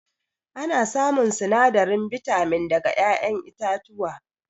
Ana samun sinadarin bitamin daga ƴaƴen itatuwa